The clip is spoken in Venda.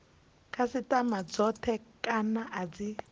khasitama dzothe kana a dzi